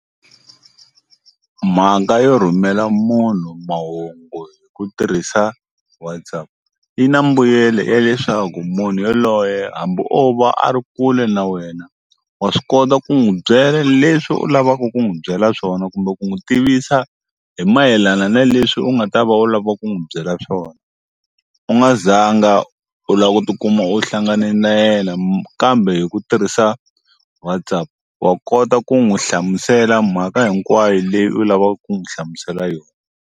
Mhaka yo rhumela munhu mahungu hi ku tirhisa WhatsApp yi na mbuyelo ya leswaku munhu yaloye hambi o va a ri kule na wena wa swi kota ku n'wi byela leswi u lavaka ku n'wu byela swona kumbe ku n'wi tivisa hi mayelana na leswi u nga ta va u lava ku n'wi byela swona u nga zanga u la ku tikuma u hlangane na yena kambe hi ku tirhisa WhatsApp wa kota ku n'wi hlamusela mhaka hinkwayo leyi u lavaka ku n'wu hlamusela yona.